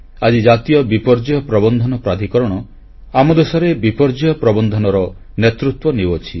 ଆଜି ଜାତୀୟ ବିପର୍ଯ୍ୟୟ ପ୍ରବନ୍ଧନ ପ୍ରାଧିକରଣ ଆମ ଦେଶରେ ବିପର୍ଯ୍ୟୟ ପ୍ରବନ୍ଧନର ନେତୃତ୍ୱ ନେଉଅଛି